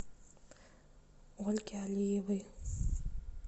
ольге алиевой